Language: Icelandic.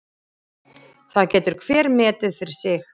Það getur hver metið fyrir sig.